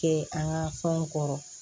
Kɛ an ka fɛnw kɔrɔ